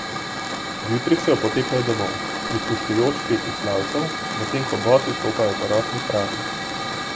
Ob jutrih se opotekajo domov, prisluškujoč petju slavcev, medtem ko bosi stopajo po rosni travi.